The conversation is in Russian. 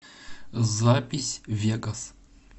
запись вегас